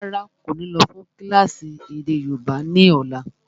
Rárá, kò ní lọ́ fún kílásì èdè yóòbá ni ọ̀la.